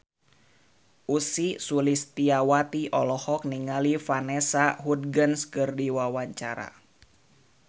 Ussy Sulistyawati olohok ningali Vanessa Hudgens keur diwawancara